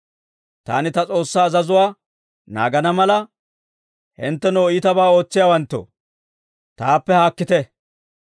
Taani ta S'oossaa azazuwaa naagana mala, hinttenoo, iitabaa ootsiyaawanttoo, taappe haakkite!